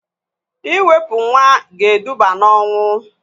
Iwepu nwa ga eduba na ọnwụ